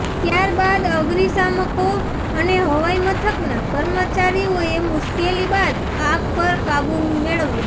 ત્યાર બાદ અગ્નિશામકો અને હવાઈ મથકના કર્મચારીઓએ મુશ્કેલી બાદ આગ પર કાબુ મેળવ્યો